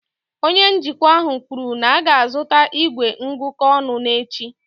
Onye njikwa ahụ kwuru na a ga-azụta igwe ngụkọ ọnụ n'echi